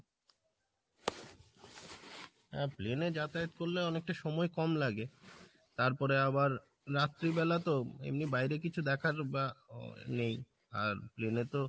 হ্যাঁ plain এ যাতায়াত করলে অনেকটা সময় কম লাগে তারপরে আবার রাত্রি বেলা তো এমনি বাইরে কিছু দেখার বা আহ নেই আর plain এ তো